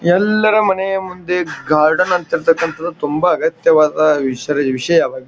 ಎಲ್ಲರ ಮನೆಯ ಮುಂದೆ ಗಾರ್ಡನ್ ಅಂತಿರ್ತಕಾಂತದ್ ತುಂಬ ಅಗತ್ಯವಾದ ವಿಷರ ವಿಷಯವಾಗಿ --